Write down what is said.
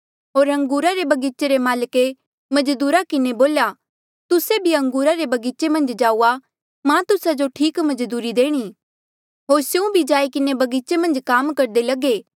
होर अंगूरा रे बगीचे रे माल्के मजदूरा किन्हें बोल्या तुस्से भी अंगूरा रे बगीचे मन्झ जाऊआ मां तुस्सा जो ठीक मजदूरी देणी होर स्यों भी जाई किन्हें बगीचे मन्झ काम करदे लगे